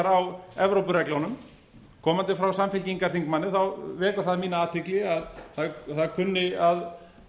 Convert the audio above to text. á evrópureglunum komandi frá samfylkingarþingmanni vekur það mína athygli að það kunni að